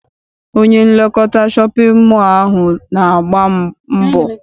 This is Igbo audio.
Onye nlekọta shọpịn mọọ ahụ na-agba mbọ.